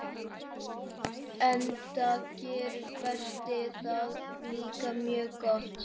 Enda gerir Berti það líka mjög gott.